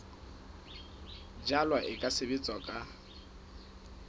jalwa e ka sebetswa ka